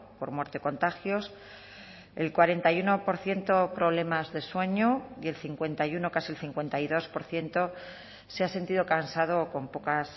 por muerte contagios el cuarenta y uno por ciento problemas de sueño y el cincuenta y uno casi el cincuenta y dos por ciento se ha sentido cansado o con pocas